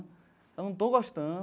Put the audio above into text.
Eu não estou gostando.